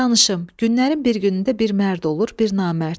Danışım, günlərin bir günündə bir mərd olur, bir namərd.